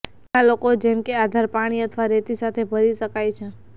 ઘણા લોકો જેમ કે આધાર પાણી અથવા રેતી સાથે ભરી શકાય છે